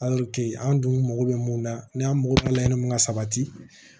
an dun mago bɛ mun na ni an mako bɛ layɛlɛ mun ka sabati